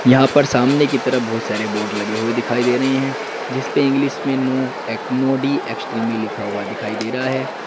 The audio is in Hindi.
यहां पर सामने की तरफ बहोत सारे बोर्ड लगे हुए दिखाई दे रही हैं जिसपे इंग्लिश में नो ऐक नो डी एक्सट्रीमी लिखा हुआ दिखाई दे रहा --